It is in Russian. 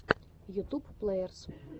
ютуб плэерс